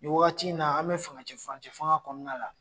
Nin wagati in na an be fangacɛ furancɛ fanga kɔnɔna la